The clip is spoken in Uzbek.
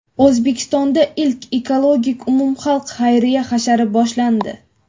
O‘zbekistonda ilk ekologik umumxalq xayriya hashari boshlandi.